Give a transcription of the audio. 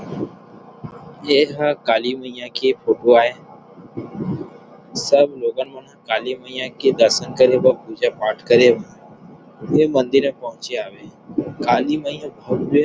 ये ह काली मैया के उपवाये सब लोगन मन वह काली मैया के दर्सन करेबा पूजा पाठ करे उहि मंदिर में पहुचे हवे काली मई के भव्य --